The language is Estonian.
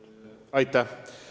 Palun peaministril vastata!